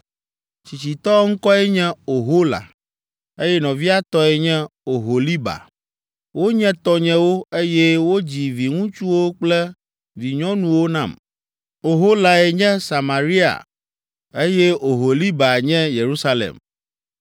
Tsitsitɔ ŋkɔe nye Ohola, eye nɔvia tɔe nye Oholiba. Wonye tɔnyewo, eye wodzi viŋutsuwo kple vinyɔnuwo nam. Oholae nye Samaria, eye Oholiba nye Yerusalem.